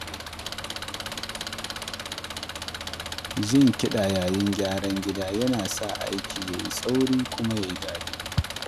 Jin kiɗa yayin gyaran gida yana sa aikin ya yi sauri kuma ya yi daɗi.